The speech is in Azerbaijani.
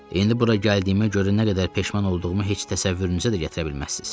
İndi bura gəldiyimə görə nə qədər peşman olduğumu heç təsəvvürünüzə də gətirə bilməzsiz.